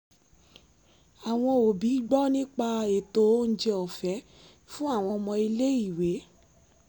àwọn òbí gbọ́ nípa ètò oúnjẹ ọ̀fẹ́ fún àwọn ọmọ ilé-ìwé